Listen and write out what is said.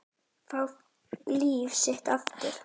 Fá líf sitt aftur.